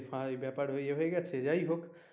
তাই ব্যাপার ইয়ে হয়ে গেছে যাই হোক,